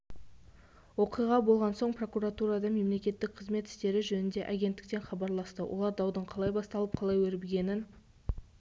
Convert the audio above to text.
оқиға болған соң прокуратурадан мемлекеттік қызмет істері жөніндегі агентіктен хабарласты олар даудың қалай басталып қалай өрбігенін